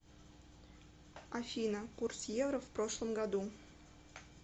афина курс евро в прошлом году